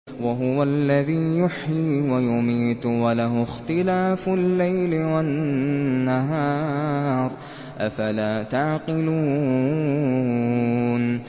وَهُوَ الَّذِي يُحْيِي وَيُمِيتُ وَلَهُ اخْتِلَافُ اللَّيْلِ وَالنَّهَارِ ۚ أَفَلَا تَعْقِلُونَ